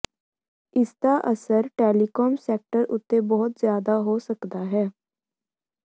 ਇਸਦਾ ਅਸਰ telecom sector ਉੱਤੇ ਬਹੁਤ ਜ਼ਿਆਦਾ ਹੋ ਸਕਦਾ ਹੈ